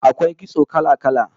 AKwai kitso kala-kala